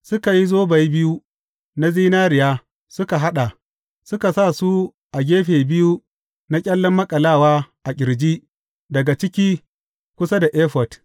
Suka yi zobai biyu na zinariya suka haɗa, suka sa su a gefe biyu na ƙyallen maƙalawa a ƙirji daga ciki kusa da efod.